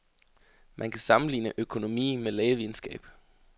Man kan sammenligne økonomi med lægevidenskab.